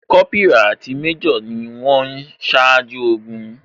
Kópírà àti méjò ni wón o ṣáájú ogun